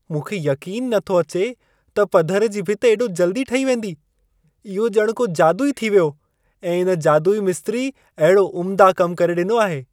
मूंखे यक़ीन नथो अचे त पधरु जी भिति एॾो जल्दी ठही वेंदी। इहो ॼण को जादू ई थी वियो ऐं इन जादुई मिस्त्री अहिड़ो उम्दा कम करे ॾिनो आहे।